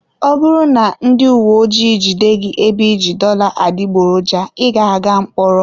Ọ bụrụ na ndị uwe ojii jide gị ebe iji dollar adịgboroja, ị ga-aga mkpọrọ.